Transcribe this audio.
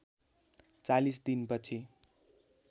४० दिन पछि